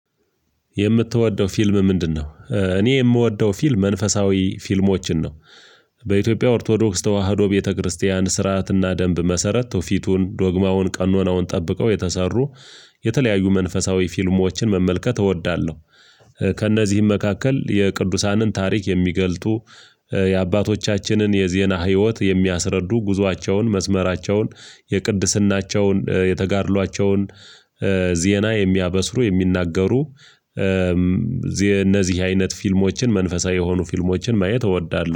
የምትወደው ፊልም ምንድነው? እኔ የምወደው ፊልም መንፈሳዊ ፊልሞችን ነው በኢትዮጵያ ኦርቶዶክስ ተዋህዶ ቤተክርስቲያን ስርዓትና ደንብ መሰረት ትውፊቱን ዶግማውን ቀኖናውን ጠብቀው የተሰሩ የተለያዩ መንፈሳዊ ፊልሞችን መመልከት እወዳለሁ። ከእነዚህም መካከል የቅዱሳንን ታሪክ የሚገልጡ የአባቶቻችንን የዜና ህይወት የሚያስረዱ ጉዟቸውን መስመራቸውን የቅድስናቸውን የተጋድሏቸውን ዜና የሚያበስሩ የሚናገሩ። እነዚህ አይነት ፊልሞችን መንፈሳዊ የሆኑ ፊልሞችን ማየት እወዳለሁ